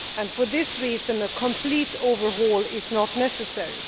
value. For this reason, a complete overhaul is not necessary.